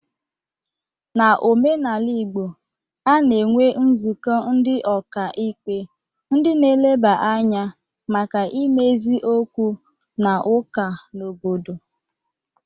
N'omenala Igbo, a na-enwe nzụkọ ndị ọka ikpe ndị na-eleba anya maka imezi okwu na ụka n'obodo.